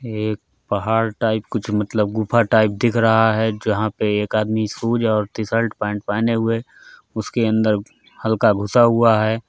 एक पहाड़ टाइप कुछ मतलब गुफा टाइप दिख रहा है जहाँ पे एक आदमी शूज और टी-शर्ट पेंट पहने हुए उसके अंदर हल्का घुसा हुआ है।